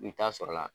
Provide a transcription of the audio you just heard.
I bɛ taa sɔrɔla